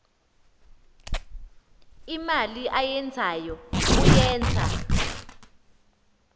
imali ayenzayo uyenza